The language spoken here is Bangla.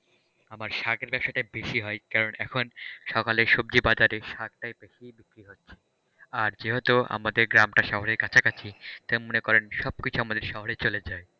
আমার শাকের ব্যবসাটাই বেশি হয় কারণ এখন সকালে সবজি বাজারে শাকটায় বেশি বিক্রি হচ্ছে আর যেহেতু আমাদের গ্রামটা শহরের কাছাকাছি তাই মনে করেন সবকিছু আমাদের শহরে চলে যাই,